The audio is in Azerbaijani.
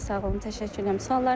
Çox sağ olun, təşəkkür edirəm.